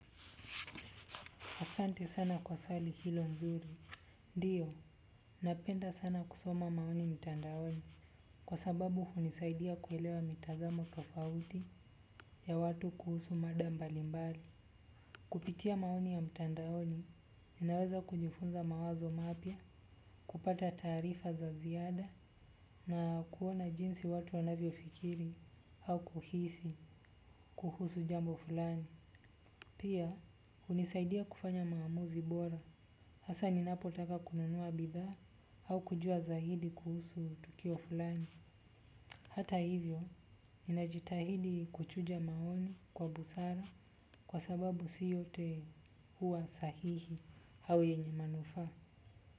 Asante sana kwa swali hilo nzuri. Ndiyo, napenda sana kusoma maoni mtandaoni kwa sababu hunisaidia kuelewa mitazamo tofauti ya watu kuhusu mada mbali mbali. Kupitia maoni ya mtandaoni, ninaweza kujifunza mawazo mapya kupata taarifa za ziada na kuona jinsi watu wanavyo fikiri au kuhisi kuhusu jambo fulani. Pia, hunisaidia kufanya maamuzi bora, hasa ninapo taka kununua bidhaa au kujua zaidi kuhusu tukio fulani. Hata hivyo, ninajitahidi kuchuja maoni kwa busara kwa sababu si yote hua sahihi au yenye manufaa.